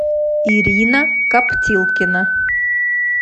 ирина каптилкина